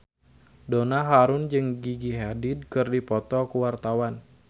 Donna Harun jeung Gigi Hadid keur dipoto ku wartawan